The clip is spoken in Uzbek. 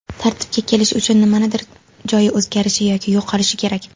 Tartibga kelishi uchun nimanidir joyi o‘zgarishi yoki yo‘qolishi kerak.